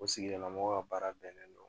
O sigidala mɔgɔw ka baara bɛnnen don